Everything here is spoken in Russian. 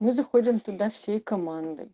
мы заходим туда всей командой